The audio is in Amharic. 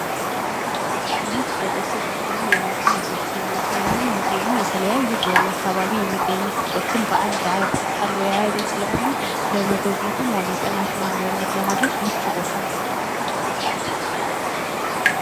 ይህ በደሴ ከተማ የሚገኝ ደሴ ሙዚየም ነው ። ሙዚየሙ የተለያዩ በወሎ አካባቢ የሚገኙ ቅርሶችን በአንድ አጠቃላይ የያዘ ስለሆነ ለመጎብኘትም ሆነ ጥናትና ምርምር ለማድረግ ምቹ ቦታ ነው ።